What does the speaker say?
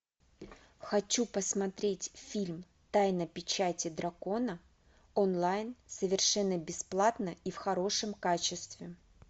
хочу посмотреть фильм тайна печати дракона онлайн совершенно бесплатно и в хорошем качестве